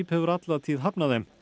hefur alla tíð hafnað þeim